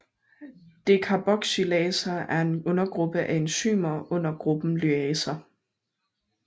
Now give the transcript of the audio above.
Decarboxylaser er en undergruppe af enzymer under gruppen lyaser